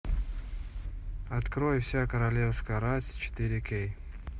открой вся королевская рать четыре кей